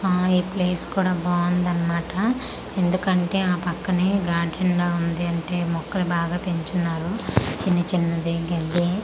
అమ్మో ఈ ప్లేస్ కుడ బావుందన్న మాట ఎందుకంటే ఆ పక్కనే గార్డెన్ లా వుంది అంటే మొక్కలు బాగా పెంచున్నారు చిన్న చిన్నది గెడ్డి అలాగే.